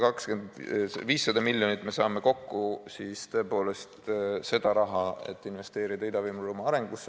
Tõepoolest, me saame kokku 500 miljonit seda raha, mis investeerida Ida-Virumaa arengusse.